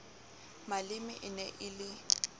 maleme e ne e le